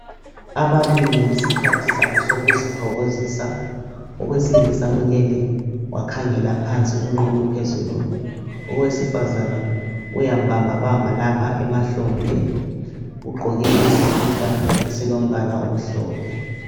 Ababili ngesikhathi sabo sokuzithokozisa owesilisa ulele wakhangela phansi unqunu phezulu owesifazana uyamubamba bamba lapha emahlombe ugqoke isikipa esilombala omhlophe.